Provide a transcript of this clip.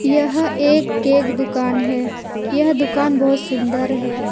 यह एक केक दुकान है यह दुकान बहुत सुंदर है।